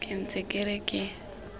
ke ntse ke re ke